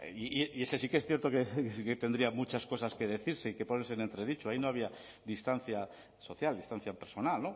y ese sí que es cierto que tendrían muchas cosas que decirse y que ponerse en entredicho ahí no había distancia social instancia personal